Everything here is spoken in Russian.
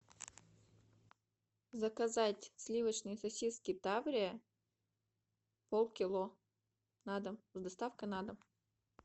заказать сливочные сосиски таврия полкило на дом с доставкой на дом